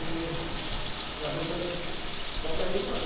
ই লাডু চাডুতো বনাব লাগিব আৰু